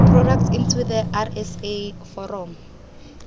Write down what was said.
products into the rsa foromo